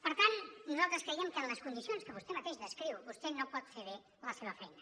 per tant nosaltres creiem que en les condicions que vostè mateix descriu vostè no pot fer bé la seva feina